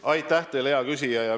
Aitäh teile, hea küsija!